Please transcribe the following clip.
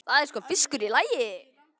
Það er sko fiskur í lagi.